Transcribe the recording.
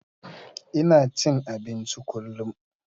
Ina cin abinci kullum.